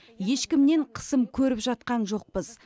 ешкімнен қысым көріп жатқан жоқпыз